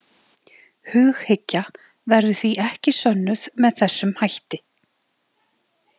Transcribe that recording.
Hughyggja verður því ekki sönnuð með þessum hætti.